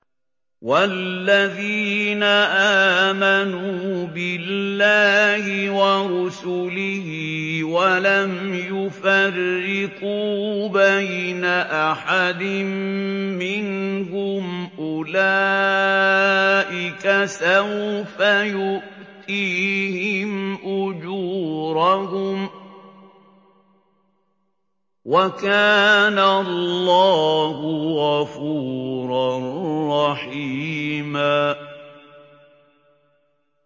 وَالَّذِينَ آمَنُوا بِاللَّهِ وَرُسُلِهِ وَلَمْ يُفَرِّقُوا بَيْنَ أَحَدٍ مِّنْهُمْ أُولَٰئِكَ سَوْفَ يُؤْتِيهِمْ أُجُورَهُمْ ۗ وَكَانَ اللَّهُ غَفُورًا رَّحِيمًا